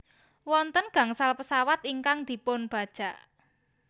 Wonten gangsal pesawat ingkang dipunbajak